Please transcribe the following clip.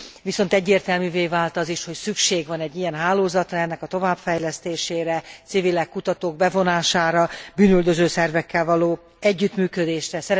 Viszont egyértelművé vált az is, hogy szükség van egy ilyen hálózatra, ennek a továbbfejlesztésére, civilek, kutatók bevonására, bűnüldöző szervekkel való együttműködésre.